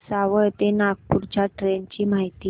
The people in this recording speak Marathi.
भुसावळ ते नागपूर च्या ट्रेन ची माहिती